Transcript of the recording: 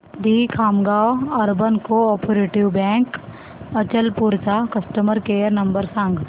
दि Khamgaon urban cooperative bank Achalpur चा customer care number सांग